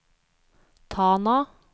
Tana